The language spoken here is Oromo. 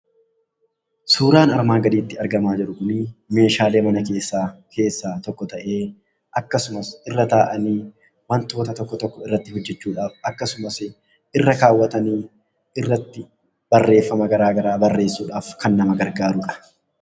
Suuraan armaan gadiitti argamaa jiru kuni meeshaalee mana keessaa tokko ta'ee, akkasumas irra taa'anii wantoota tokko tokko irratti hojjechuudhaaf, akkasumas irra kaawwatanii irratti barreeffama garaa garaa irratti barreessuudhaaf kan nama gargaarudha.